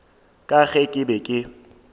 ka ge ke be ke